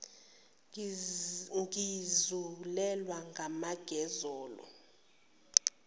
ngizulelwa amanqe zolo